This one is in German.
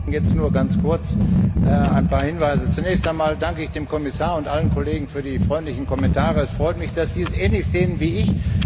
Frau Präsidentin! Jetzt nur ganz kurz ein paar Hinweise. Zunächst einmal danke ich dem Kommissar und allen Kollegen für die freundlichen Kommentare. Es freut mich, dass Sie es ähnlich sehen wie ich.